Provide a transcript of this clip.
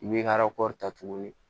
I b'i ka ta tuguni